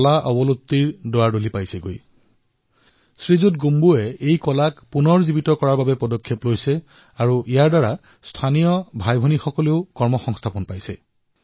এতিয়া স্থানীয় সামাজিক কৰ্মী কলিংগ গোম্বুৱে এই কলা পুনৰ্জীৱিত কৰাৰ প্ৰসায় কৰিছে আৰু ইয়াৰ দ্বাৰা আদিবাসী ভাইভনীসকলৰ ৰোজগাৰো সৃষ্টি হৈছে